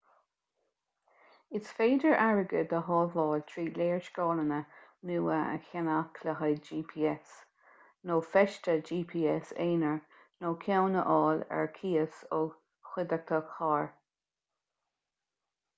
is féidir airgead a shábháil trí léarscáileanna nua a cheannach le haghaidh gps nó feiste gps aonair nó ceann a fháil ar cíos ó chuideachta carr